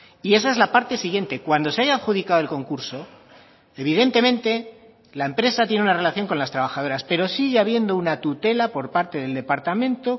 y esa es la parte siguiente cuando se haya adjudicado el concurso evidentemente la empresa tiene una relación con las trabajadoras pero sigue habiendo una tutela por parte del departamento